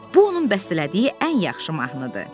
Bu onun bəstələdiyi ən yaxşı mahnıdır.